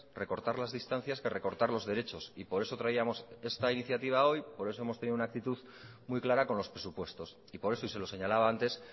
recortar las distancias que recortar los derechos y por eso traíamos esta iniciativa hoy por eso hemos tenido una actitud muy clara con los presupuestos y por eso y se lo señalaba antes